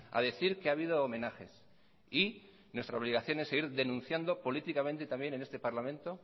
a decir que ha habido homenajes y nuestra obligación es seguir denunciando políticamente también en este parlamento